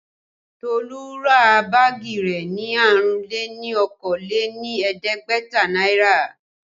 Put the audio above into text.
Tolu ra báàgì rẹ ní àrún-lé-ní-okòó-lé-ní-ẹ̀ẹ́dẹ́gbẹ̀ta náírà